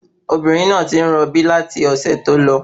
Obìnrin náà tí ń rọ bí láti ọ̀sẹ̀ tó lọ